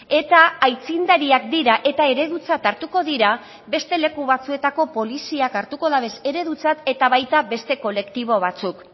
eta aitzindariak dira eta eredutzat hartuko dira beste leku batzuetako poliziak hartuko dabez eredutzat eta baita beste kolektibo batzuk